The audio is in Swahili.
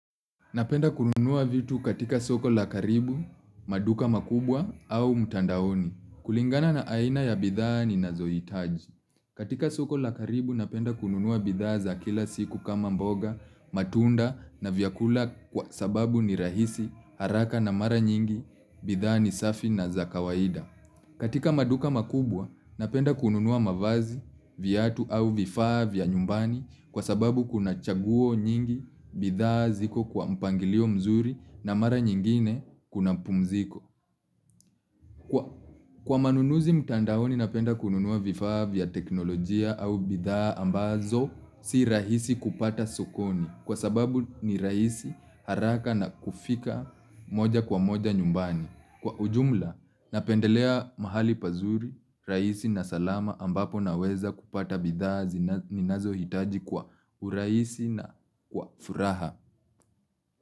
Napenda kununua vitu katika soko la karibu, maduka makubwa au mtandaoni. Kulingana na aina ya bidhaa ninazoitaji. Katika soko la karibu napenda kununua bidhaa za kila siku kama mboga, matunda na vyakula kwa sababu ni rahisi, haraka na mara nyingi, bidhaa ni safi na za kawaida. Katika maduka makubwa, napenda kununua mavazi, viatu au vifaa vya nyumbani kwa sababu kuna chaguo nyingi bidhaa ziko kwa mpangilio mzuri na mara nyingine kuna pumziko. Kwa manunuzi mtandaoni, napenda kununua vifaa vya teknolojia au bidhaa ambazo si rahisi kupata sokoni kwa sababu ni rahisi, haraka na kufika moja kwa moja nyumbani. Kwa ujumla, napendelea mahali pazuri, rahisi na salama ambapo naweza kupata bidhaa ninazo hitaji kwa urahisi na kwa furaha.